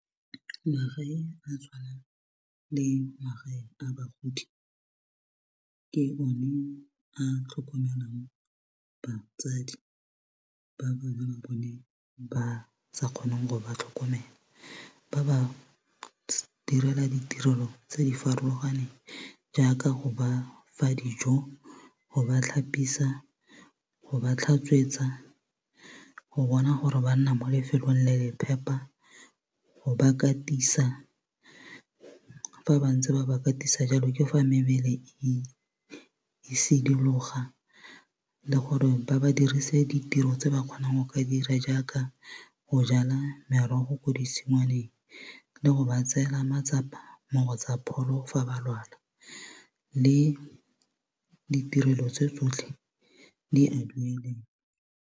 Tshwana le magae a bagodi ke o ne a tlhokomelang batsadi ba bana ba bone ba sa kgoneng go ba tlhokomela ba ba direla ditirelo tse di farologaneng jaaka go ba fa dijo go ba tlhapisa go ba tlhatswetsa go bona gore ba nna mo lefelong le le phepa go ba katisa fa ba ntse ba ba katisa jalo ke fa mebele e sidologa le gore ba ba dirise ditiro tse ba kgonang go ka dira jaaka go jala merogo ko ditshingwaneng le go ba tseela matsapa mo go tsa pholo fa ba lwala le ditirelo tse tsotlhe di a .